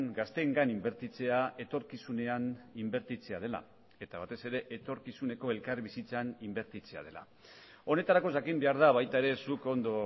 gazteengan inbertitzea etorkizunean inbertitzea dela eta batez ere etorkizuneko elkarbizitzan inbertitzea dela honetarako jakin behar da baita ere zuk ondo